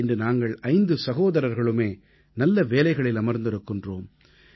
இன்று நாங்கள் ஐந்து சகோதரர்களுமே நல்ல வேலைகளில் அமர்ந்திருக்கிறோம்